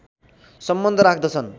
सम्बन्ध राख्दछन्